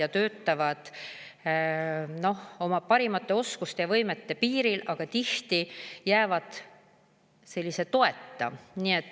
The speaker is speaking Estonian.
Nad töötavad oma parimate oskuste ja võimete piiril, aga tihti jäävad toeta.